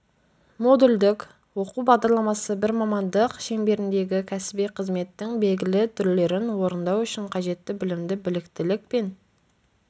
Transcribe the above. модульдік оқу бағдарламасы бір мамандық шеңберіндегі кәсіби қызметтің белгілі түрлерін орындау үшін қажетті білімді біліктілік пен